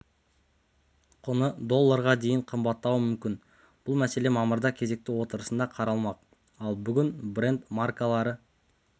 құны долларға дейін қымбаттауы мүмкін бұл мәселе мамырда кезекті отырысында қаралмақ ал бүгін брент маркалы